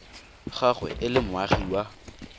gagwe e le moagi wa